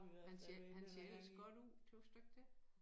Han ser han ser ellers godt ud tøs du ikke det?